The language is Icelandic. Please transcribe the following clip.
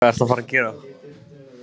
Hvað ertu að fara að gera?